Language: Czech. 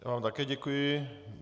Já vám také děkuji.